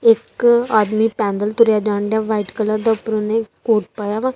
ਇੱਕ ਆਦਮੀ ਪੈਂਦਲ ਤੁਰਿਆ ਜਾਂਦਾ ਵਾਈਟ ਕਲਰ ਦਾ ਉਪਰੋਂ ਉਨੇ ਕੋਟ ਪਾਇਆ ਵਾ।